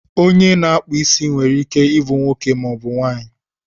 onye ọkpụ isi nwere ike ịbụ nwoke maọbụ nwaanyị